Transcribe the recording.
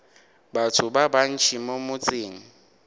batho ba bantši mo motseng